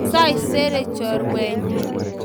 Saisere chorwenyu